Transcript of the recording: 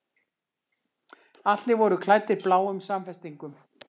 Allir voru klæddir bláum samfestingum.